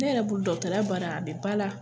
Ne yɛrɛ bolo dɔgɔtɔrɔya baara a be ba la